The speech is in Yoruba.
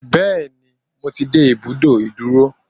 Bẹ́ẹ̀ni, mo ti dé ibùdó ìdúró.